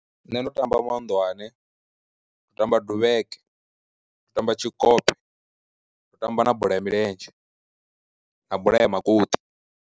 Nṋe ndo tamba mahunḓwane, tamba duvheke, tamba tshikotshe ndo tamba na bola ya milenzhe na bola ya makoṱi.